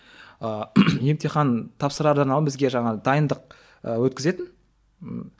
ыыы емтихан тапсырардан алдын бізге жаңағы дайындық ы өткізетін